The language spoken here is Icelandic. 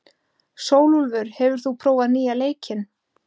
Sólúlfur, hefur þú prófað nýja leikinn?